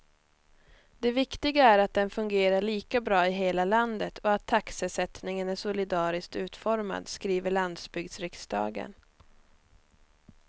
Det viktiga är att den fungerar lika bra i hela landet och att taxesättningen är solidariskt utformad, skriver landsbygdsriksdagen.